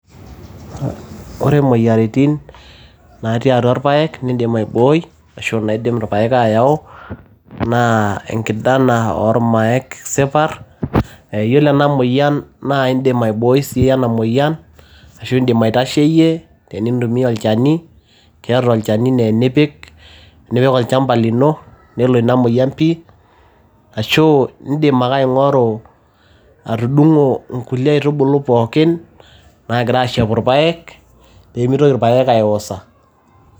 Ore imoyiaritin natii atwa ilpaek nidim aibooi, ashu naidim ilpaek ayau naa enkdana oolmaek sipar, iyiolo ena moyian naa idim aibooi sii ena moyian, ashu idim aitasheyie tinintumia olchani. Keeta alchani naa enipik, nipik olchamba lino nelo ina moyian pi, ashu idim ake aing'oru atudungo inkulie aitubulu pookin naagira ashepu ilpaek pee meitoki ilpaek aiwosa.